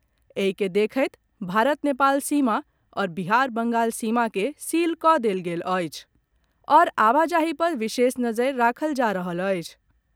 एहि के देखैत भारत नेपाल सीमा आओर बिहार बंगाल सीमा के सील कऽ देल गेल अछि आओर आबाजाहि पर विशेष नजरि राखल जा रहल अछि।